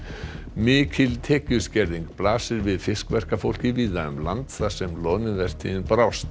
mikil tekjuskerðing blasir við fiskverkafólki víða um land þar sem loðnuvertíðin brást